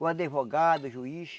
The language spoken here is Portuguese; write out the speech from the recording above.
o advogado, o juiz.